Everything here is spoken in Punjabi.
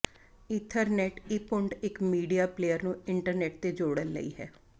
ਈਥਰਨੈੱਟ ਇੰਪੁੱਟ ਇੱਕ ਮੀਡੀਆ ਪਲੇਅਰ ਨੂੰ ਇੰਟਰਨੈਟ ਤੇ ਜੋੜਨ ਲਈ ਹੈ